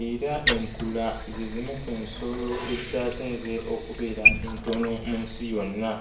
era enkula ze zimu ku nsolo ezikyasinze okubeera entono mu nsi yonna.